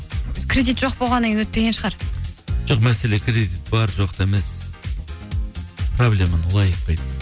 кредит жоқ болғаннан кейін өтпеген шығар жоқ мәселе кредит бар жоқта емес проблеманы олай айтпайды